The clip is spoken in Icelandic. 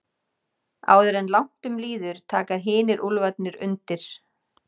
Áður en langt um líður taka hinir úlfarnir undir.